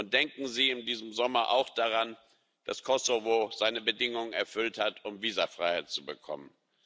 Und denken Sie in diesem Sommer auch daran, dass Kosovo seine Bedingungen erfüllt hat, um Visafreiheit zu bekommen.